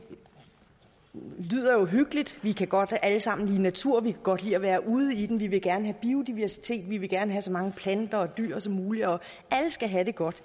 lyder jo hyggeligt vi kan godt alle sammen lide natur vi kan godt lide at være ude i den vi vil gerne have biodiversitet vi vil gerne have så mange planter og dyr som muligt og alle skal have det godt